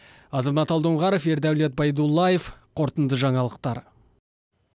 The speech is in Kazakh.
азамат алдоңғаров ердәулет байдуллаев қорытынды жаңалықтар